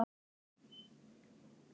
Viti menn!